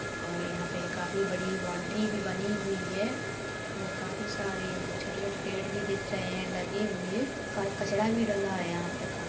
और यहाँ पे काफी बड़ी बाउंड्री भी बनी हुई है और काफी सारे छोटे-छोटे पेड़ भी दिख रहे हैं लगे हुए कच कचरा भी डला है यहाँ पे।